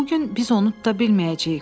Bu gün biz onu tuta bilməyəcəyik.